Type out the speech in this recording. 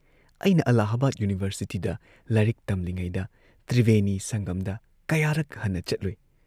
ꯑꯩꯅ ꯑꯜꯂꯥꯍꯥꯕꯥꯗ ꯌꯨꯅꯤꯚꯔꯁꯤꯇꯤꯗ ꯂꯥꯏꯔꯤꯛ ꯇꯝꯂꯤꯉꯩꯗ ꯇ꯭ꯔꯤꯕꯦꯅꯤ ꯁꯪꯒꯝꯗ ꯀꯌꯥꯔꯛ ꯍꯟꯅ ꯆꯠꯂꯨꯢ